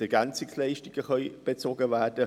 EL können bezogen werden.